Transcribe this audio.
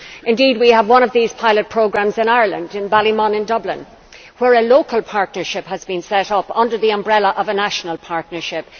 Indeed, we have one of these pilot programmes in Ireland, in Ballymun in Dublin, where a local partnership has been set up under the umbrella of a national partnership.